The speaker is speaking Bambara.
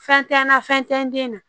Fɛn tɛ n na fɛn tɛ n den na